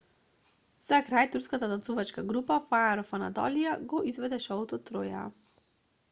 за крај турската танцувачка група fire of anatolia го изведе шоуто троја